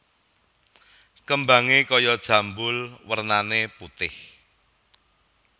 Kembangé kaya jambul wernané putih